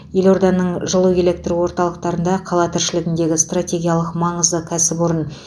елорданың жылу электр орталықтарында қала тіршілігіндегі стратегиялық маңызды кәсіпорын